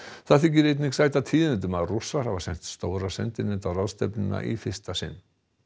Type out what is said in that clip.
það þykir einnig sæta tíðindum að Rússar hafa sent stóra sendinefnd á ráðstefnuna í fyrsta sinn